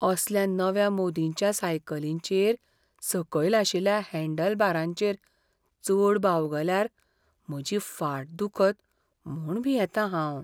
असल्या नव्या मोदींच्या सायकलींचेर सकल आशिल्ल्या हँडलबारांचेर चड बावगल्यार म्हजी फाट दुखत म्हूण भियेतां हांव.